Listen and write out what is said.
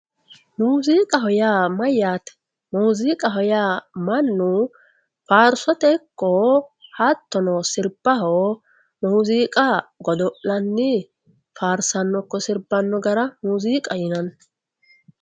Muziiqaho yaa mayyate? muziiqaho yaa mannu faarsote ikko hattono sirbaho muziiqa godo'lanni faarsanno ikko sirbano gara muziiqaho yinanni.